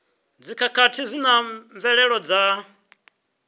dzikhakhathi zwi na mvelelo dza